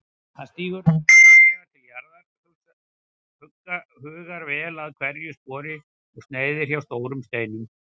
Hann stígur varlega til jarðar, hugar vel að hverju spori og sneiðir hjá stórum steinum.